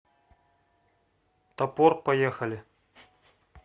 топор поехали